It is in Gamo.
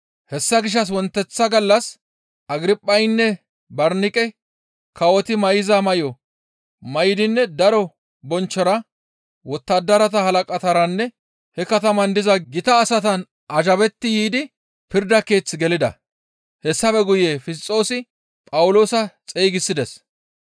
Hessa gishshas wonteththa gallas Agirphaynne Barniqey kawoti may7iza may7o may7idinne daro bonchchora wottadarata halaqataranne he kataman diza gita asatan azhabetti yiidi pirda keeth gelida; hessafe guye Fisxoosi Phawuloosa xeygisides.